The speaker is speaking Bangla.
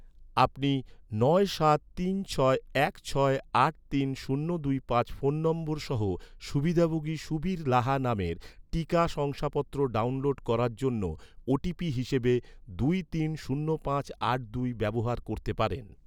আপনি নয় সাত তিন ছয় এক ছয় আট তিন শূন্য দুই পাঁচ ফোন নম্বর সহ সুবিধাভোগী সুবীর লাহা নামের, টিকা শংসাপত্র ডাউনলোড করার জন্য, ওটিপি হিসাবে দুই তিন শূন্য পাঁচ আট দুই ব্যবহার করতে পারেন